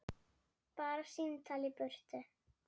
Bara símtal í burtu.